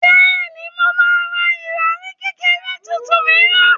Bẹ́ẹ̀ni, mo máa ra ìrọ̀rì kékeré tuntun mìíràn